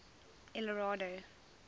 eldorado